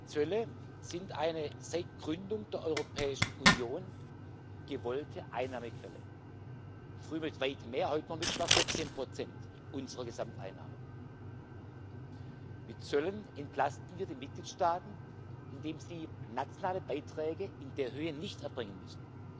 Zölle sind eine seit Gründung der Europäischen Union gewollte Einnahmequelle früher mit weit mehr, heute mit etwa 14 unserer Gesamteinnahmen. Mit Zöllen entlasten wir die Mitgliedstaaten, indem sie nationale Beiträge in der Höhe nicht erbringen müssen.